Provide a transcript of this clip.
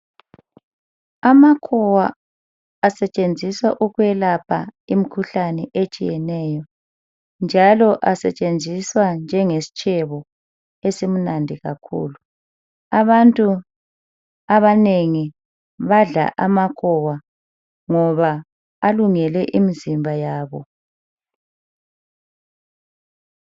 Amakhowa asetshenziswa ukwelapha imkhuhlane etshiyeneyo njalo asetshenziswa njenge stshebo esimnandi kakhulu. Abantu abanengi badla amakhowa ngoba alungele imzimba yabo .